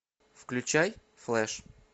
включай флэш